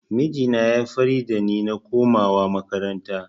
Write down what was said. Mijina ya yi fira da ni na komawa makaranta